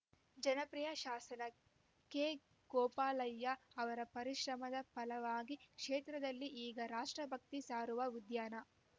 ಜನಪ್ರಿಯ ಶಾಸರ ಕೆಗೋಪಾಲಯ್ಯ ಅವರ ಪರಿಶ್ರಮದ ಫಲವಾಗಿ ಕ್ಷೇತ್ರದಲ್ಲಿ ಈಗ ರಾಷ್ಟ್ರಭಕ್ತಿ ಸಾರುವ ಉದ್ಯಾನ